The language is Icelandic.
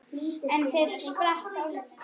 Einn þeirra sprakk á limminu